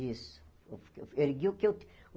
Isso. Ergui o que eu